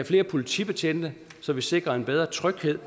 flere politibetjente så vi sikrer en bedre tryghed